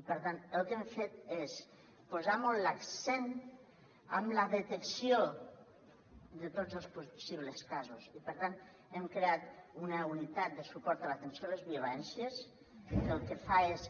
i per tant el que hem fet és posar molt l’accent en la detecció de tots els possibles casos i per tant hem creat una unitat de suport a l’atenció a les violències que el que fa és